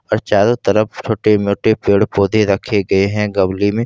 और चारों तरफ छोटे मोटे पेड़ पौधे रखे गए हैं गमले में।